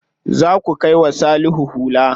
Za ku kai wa Salihu hula.